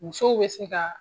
Musow bɛ se ka